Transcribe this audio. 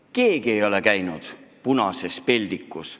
Keegi ei ole käinud punases peldikus.